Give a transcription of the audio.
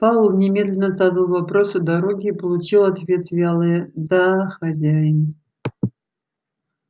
пауэлл немедленно задал вопрос о дороге и получил в ответ вялое да хозяин